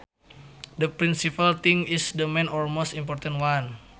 The principal thing is the main or most important one